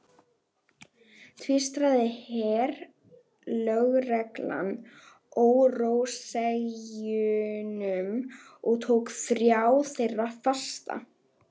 Tvístraði herlögreglan óróaseggjunum og tók þrjá þeirra fasta.